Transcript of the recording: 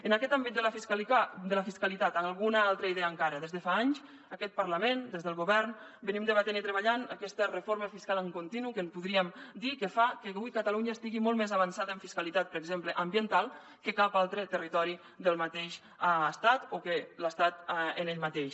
en aquest àmbit de la fiscalitat alguna altra idea encara des de fa anys aquest parlament des del govern debatem i treballem aquesta reforma fiscal en continu que podríem dir que fa que avui catalunya estigui molt més avançada en fiscalitat per exemple ambiental que cap altre territori del mateix estat o que l’estat en ell mateix